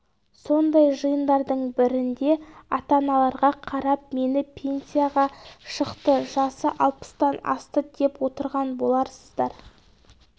сондай жиындардың бірінде ата-аналарға қарап мені пенсияға шықты жасы алпыстан асты деп отырған боларсыздар